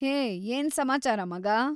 ಹೇ ಏನ್‌ ಸಮಾಚಾರ, ಮಗಾ?